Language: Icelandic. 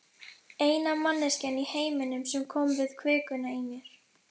Eina manneskjan í heiminum sem kom við kvikuna í mér.